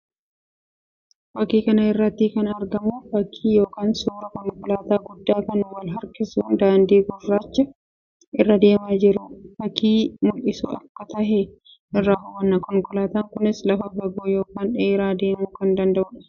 Fakkii kana irratti kan argamu fakkii yookiin suuraa konkolaataa guddaa kan wal harkisuun daandii gurraacha irra deemaa jiru fakkii mullisuu akka tahe irraa hubanna. Konkolaataan kunis lafa fagoo yookiin dheeraa deemuu kan danda'uu dha.